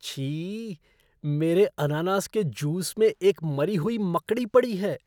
छी! मेरे अनानास के जूस में एक मरी हुई मकड़ी पड़ी है।